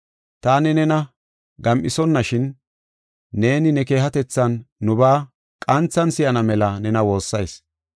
Taani nena gam7isonashin neeni ne keehatethan nubaa qanthan si7ana mela nena woossayis.